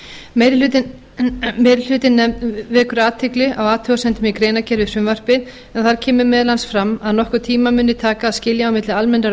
meiri hlutinn vekur athygli á athugasemdum í greinargerð við frumvarpið en þar kemur meðal annars fram að nokkurn tíma muni taka að skilja á milli almennrar